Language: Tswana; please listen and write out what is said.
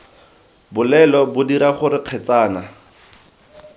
bolelo bo dira gore kgetsana